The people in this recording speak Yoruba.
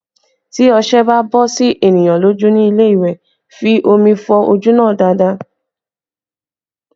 Tí ọṣẹ bá bọ sí ènìyàn lójú ní ilé ìwẹ̀, fi omi fọ ojú náà dáadáa